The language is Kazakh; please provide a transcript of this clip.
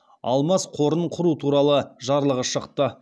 алмас қорын құру туралы жарлығы шықты